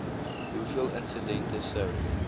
hoeveel insidente sou